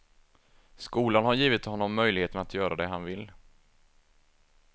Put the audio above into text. Skolan har givit honom möjligheten att göra det han vill.